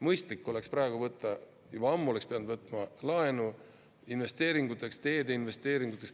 Mõistlik oleks praegu võtta, õigemini juba ammu oleks pidanud võtma laenu investeeringuteks, teede investeeringuteks.